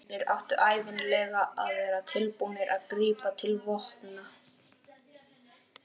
og er nú að verða að hugtaki.